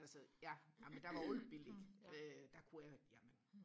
altså ja amen der var alt billigtn øh der kunne jeg jamen